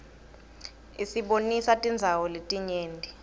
isibonisa tindzawo letinyenti